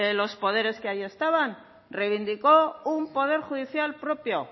los poderes que ahí estaban reivindicó un poder judicial propio